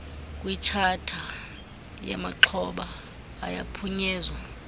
kwitshatha yamaxhoba ayaphunyezwa